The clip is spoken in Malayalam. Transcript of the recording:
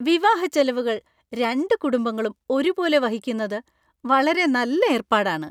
വിവാഹച്ചെലവുകൾ രണ്ട് കുടുംബങ്ങളും ഒരുപോലെ വഹിക്കുന്നത് വളരെ നല്ല ഏർപ്പാടാണ്.